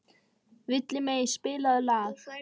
Villimey, spilaðu lag.